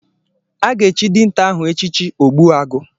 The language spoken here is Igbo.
A ga-echi dinta ahụ echichi Ogbuagu.